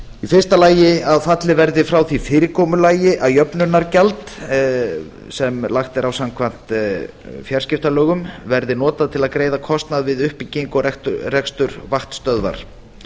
í fyrsta lagi að fallið verði frá því fyrirkomulagi að jöfnunargjald sem lagt er á samkvæmt fjarskiptalögum verði notað til að greiða kostnað við uppbyggingu og rekstur vaktstöðvar